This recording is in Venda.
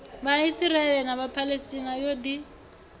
vhaisraele na vhaphalestina yo ḓi